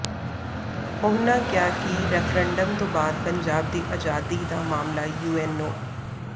ਉਨ੍ਹਾਂ ਕਿਹਾ ਕਿ ਰੈਫ਼ਰੰਡਮ ਤੋਂ ਬਾਅਦ ਪੰਜਾਬ ਦੀ ਆਜ਼ਾਦੀ ਦਾ ਮਾਮਲਾ ਯੂਐਨਓ